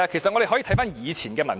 我們可以翻看以前的文件。